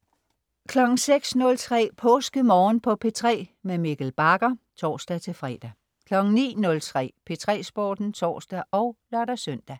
06.03 PåskeMorgen på P3. Mikkel Bagger (tors-fre) 09.03 P3 Sporten (tors og lør-søn)